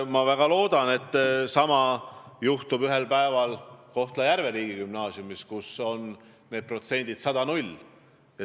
Ma väga loodan, et sama juhtub Kohtla-Järve riigigümnaasiumis, kus on need protsendid 100 : 0.